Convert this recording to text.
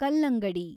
ಕಲ್ಲಂಗಡಿ